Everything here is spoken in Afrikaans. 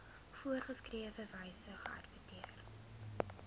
voorgeskrewe wyse geadverteer